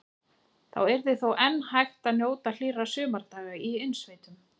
Þá yrði þó enn hægt að njóta hlýrra sumardaga í innsveitum.